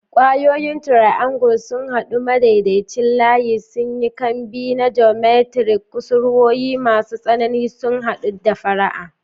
Ƙwayoyin triangle sun haɗu, madaidaicin layi sun yi kambi na geometric, kusurwoyi masu tsanani sun haɗu da fara'a.